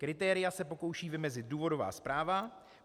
Kritéria se pokouší vymezit důvodová zpráva.